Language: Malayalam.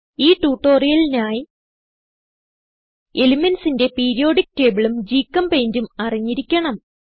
ഈ ട്യൂട്ടോറിയലിനായി elementsന്റെ പീരിയോഡിക്ക് tableഉം GChemPaintഉം അറിഞ്ഞിരിക്കണം